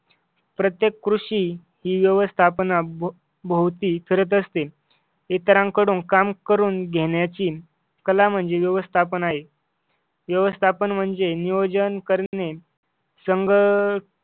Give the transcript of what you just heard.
प्रत्येक ऋषीं ही व्यवस्थापना भो भोवती फिरत असते इतरांकडून काम करून घेण्याची कला म्हणजे व्यवस्थापन आहे व्यवस्थापन म्हणजे नियोजन करणे संघ